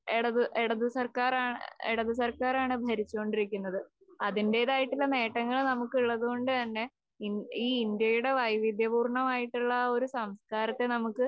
ഇടത് ഇടതുസർക്കാരാ ഇടതുസർക്കാരാണ് ഭരിച്ചുകൊണ്ടിരിക്കുന്നത്. അതിന്റേതായിട്ടുള്ള നേട്ടങ്ങൾ നമുക്ക് ഉള്ളതുകൊണ്ടുതന്നെ ഈ ഇന്ത്യയുടെ വൈവിധ്യപൂർണ്ണമായിട്ടുള്ള ആ ഒരു സംസ്കാരത്തെ നമുക്ക്